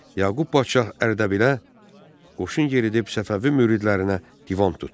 Yaqub padşah Ərdəbilə qoşun yeridib Səfəvi müridlərinə divan tutdu.